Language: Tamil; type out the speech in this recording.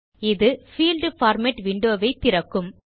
இது பீல்ட் பார்மேட் விண்டோ வை திறக்கும்